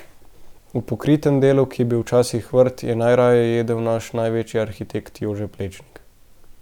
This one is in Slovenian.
V pokritem delu, ki je bil včasih vrt, je najraje jedel naš največji arhitekt Jože Plečnik.